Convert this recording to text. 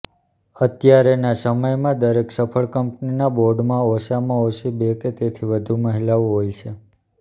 અત્યારેના સમયમાં દરેક સફળ કંપનીના બોર્ડમાં ઓછામાં ઓછી બે કે તેથી વધુ મહિલાઓ હોય છે